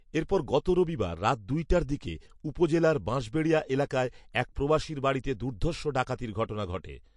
এরপর গত রবিবার রাত দুইটার দিকে উপজেলার বাঁশবাড়িয়া এলাকায় এক প্রবাসীর বাড়িতে দুর্ধষ ডাকাতির ঘটনা ঘটে